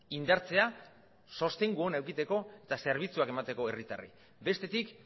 indartzea sostengu ona edukitzeko eta zerbitzuak emateko herritarrei bestetik